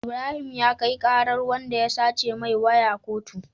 Ibrahim ya kai karar wanda ya sace mai waya kotu